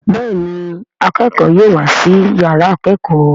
Béèni akẹkọ yóò wá sí yàrá ikẹkọ.